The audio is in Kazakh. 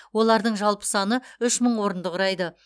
олардың жалпы саны үш мың орынды құрайды